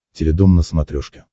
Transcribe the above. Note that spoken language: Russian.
теледом на смотрешке